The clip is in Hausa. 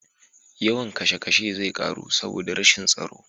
Yawan kishe kashe zai ƙaru saboda rashin tsaro.